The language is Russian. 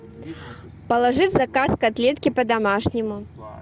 положи в заказ котлетки по домашнему